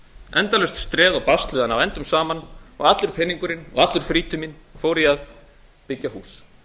endalaust streð og basl við að ná endum saman og allur peningurinn og allur frítíminn fór í að byggja hús